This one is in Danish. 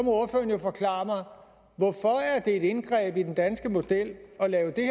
ordføreren jo forklare mig hvorfor det er et indgreb i den danske model at lave det